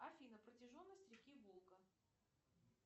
афина протяженность реки волга